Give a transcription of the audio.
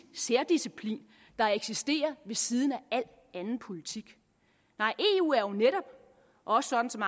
særdisciplin der eksisterer ved siden af al anden politik nej eu er jo netop også sådan som